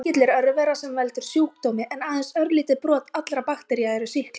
Sýkill er örvera sem veldur sjúkdómi en aðeins örlítið brot allra baktería eru sýklar.